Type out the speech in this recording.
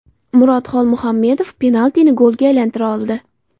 Murod Xolmuhammedov penaltini golga aylantira oldi.